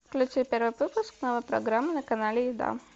включи первый выпуск новой программы на канале еда